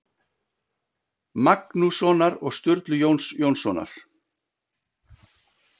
Magnússonar og Sturlu Jóns Jónssonar.